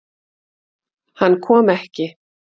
Hann kom ekki.